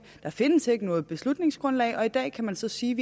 der findes ikke noget beslutningsgrundlag og i dag kan man så sige